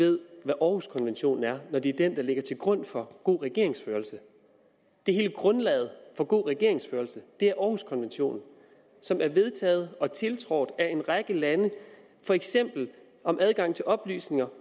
ved hvad århuskonventionen er når det er den der ligger til grund for god regeringsførelse hele grundlaget for god regeringsførelse er århuskonventionen som er vedtaget og tiltrådt af en række lande for eksempel om adgang til oplysninger